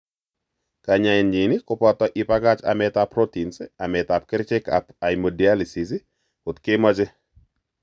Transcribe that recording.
Kanyaenyin ko poto ipakach amet ap Proteins, ametap kerichek ap hemodialysis kot kemoche.